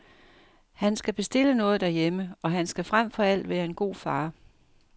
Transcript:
Han skal bestille noget derhjemme, og han skal frem for alt være en god far.